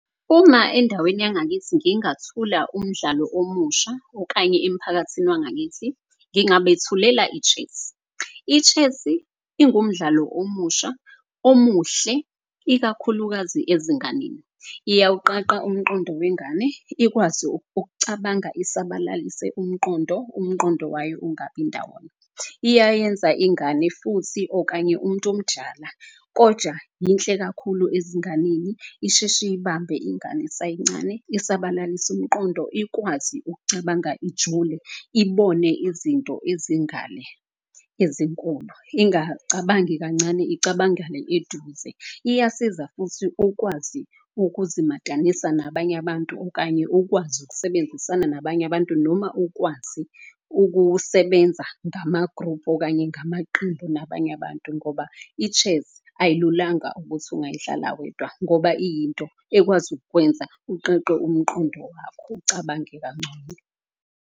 Uma endaweni yangakithi ngingathula umdlalo omusha okanye emphakathini wangakithi, ngingabethulela i-chess. I-chess-i ingumdlalo omusha omuhle ikakhulukazi ezinganeni iyawuqaqa umqondo wengane. Ikwazi ukucabanga isabalalise umqondo, umqondo wayo ungabi ndawonye. Iyayenza ingane futhi okanye umuntu omdala koja inhle kakhulu ezinganeni. Isheshe iyibambe ingane isayincane, isabalalisa umqondo. Ikwazi ukucabanga ijule ibone izinto ezingale ezinkulu ingacabangi kancane icabangale eduze. Iyasiza futhi ukwazi ukuzimatanisa nabanye abantu, okanye ukwazi ukusebenzisana nabanye abantu. Noma ukwazi ukusebenza ngama-group okanye ngamaqembu nabanye abantu. Ngoba i-chess ayilunganga ukuthi ungayidlala wedwa ngoba iyinto ekwazi ukwenza uqaqe umqondo wakho ucabange kangcono.